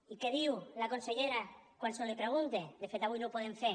i què diu la consellera quan se li pregunta de fet avui no ho podem fer